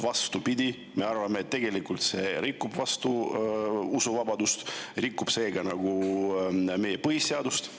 Vastupidi, me arvame, et tegelikult see rikub usuvabadust ja rikub seega meie põhiseadust.